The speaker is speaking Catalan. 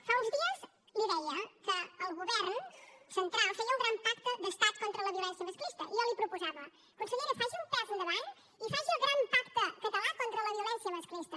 fa uns dies li deia que el govern central feia un gran pacte d’estat contra la violència masclista i jo li proposava consellera faci un pas endavant i faci el gran pacte català contra la violència masclista